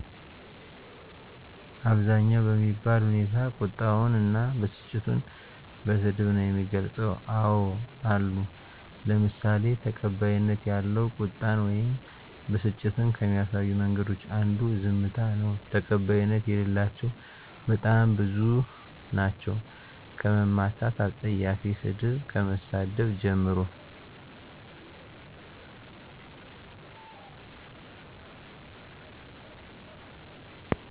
አብዛኛው በሚባል ሁኔታ ቁጣውን እና በስጭቱን በስድብ ነው የሚገልፀው። አዎ አሉ ለምሳሌ ተቀባይነት ያለው ቁጣን ወይም በስጭትን ከሚያሳዩ መንገዶች አንዱ ዝምታ ነው። ተቀባይነት የሌላቸው በጣም ብዙ ናቸው ከመማታት አፀያፊ ሰድብ ከመሳደብ ጀምሮ።